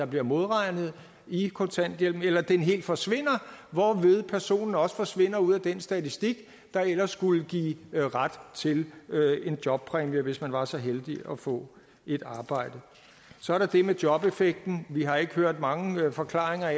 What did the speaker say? bliver modregnet i kontanthjælpen eller den helt forsvinder hvorved personen også forsvinder ud af den statistik der ellers skulle give ret til en jobpræmie hvis man var så heldig at få et arbejde så er der det med jobeffekten vi har ikke hørt mange forklaringer